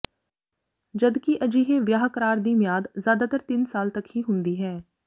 ਜਦ ਕਿ ਅਜਿਹੇ ਵਿਆਹ ਕਰਾਰ ਦੀ ਮਿਆਦ ਜ਼ਿਆਦਾਤਰ ਤਿੰਨ ਸਾਲ ਤੱਕ ਦੀ ਹੁੰਦੀ ਹੈ